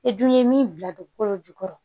E dun ye min bila don kolo jukɔrɔ